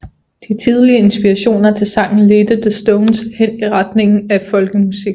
De tidligere inspirationer til sangen ledte The Stones hen i retningen af Folkemusikken